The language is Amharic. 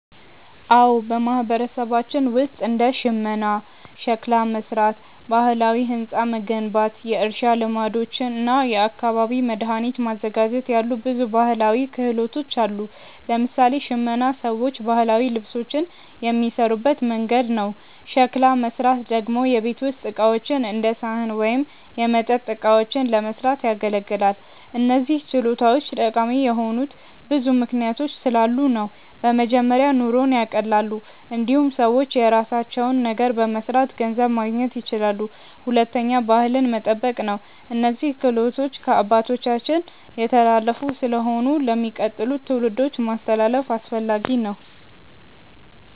አዎ፣ በማህበረሰባችን ውስጥ እንደ ሽመና፣ ሸክላ መሥራት፣ ባህላዊ ሕንፃ መገንባት፣ የእርሻ ልማዶች እና የአካባቢ መድኃኒት ማዘጋጀት ያሉ ብዙ ባህላዊ ክህሎቶች አሉ። ለምሳሌ ሽመና ሰዎች ባህላዊ ልብሶችን የሚሠሩበት መንገድ ነው። ሸክላ መሥራት ደግሞ የቤት ውስጥ ዕቃዎች እንደ ሳህን ወይም የመጠጥ እቃዎችን ለመስራት ያገለግላል። እነዚህ ችሎታዎች ጠቃሚ የሆኑት ብዙ ምክንያቶች ስላሉ ነው። በመጀመሪያ ኑሮን ያቀላሉ። እንዲሁም ሰዎች የራሳቸውን ነገር በመስራት ገንዘብ ማግኘት ይችላሉ። ሁለተኛ ባህልን መጠበቅ ነው፤ እነዚህ ክህሎቶች ከአባቶቻችን የተላለፉ ስለሆኑ ለሚቀጥሉት ትውልዶች ማስተላለፍ አስፈላጊ ነው።